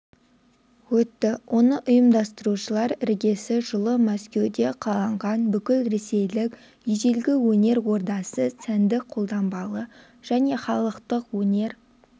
өтті оны ұйымдастырушылар іргесі жылы мәскеуде қаланған бүкілресейлік ежелгі өнер ордасы сәндік-қолданбалы және халықтық өнер